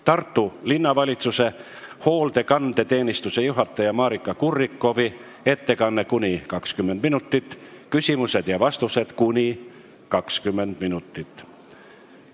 Tartu Linnavalitsuse hoolekandeteenistuse juhataja Maarika Kurrikoffi ettekanne, mis kestab kuni 20 minutit, küsimused ja vastused kestavad kuni 20 minutit.